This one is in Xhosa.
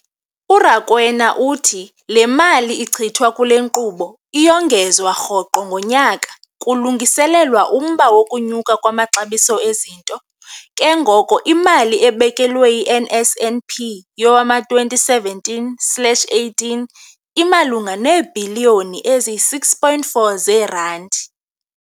URakwena uthi le mali ichithwa kule nkqubo iyongezwa rhoqo ngonyaka kulungiselelwa umba wokunyuka kwamaxabiso ezinto, ke ngoko imali ebekelwe i-NSNP yowama-2017 slash 18 imalunga neebhiliyoni eziyi-6.4 zeerandi.